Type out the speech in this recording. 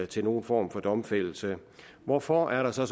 til nogen form for domfældelse hvorfor er der så